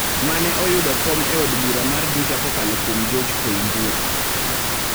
mane oyudo kom e od bura mar Juja kokalo kuom George Koimburi.